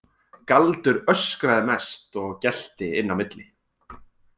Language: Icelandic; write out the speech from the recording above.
Galdur öskraði mest og gelti inn á milli.